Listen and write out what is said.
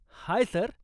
Hi sir.